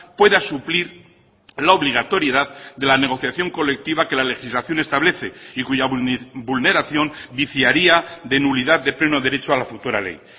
pueda suplir la obligatoriedad de la negociación colectiva que la legislación establece y cuya vulneración viciaría de nulidad de pleno derecho a la futura ley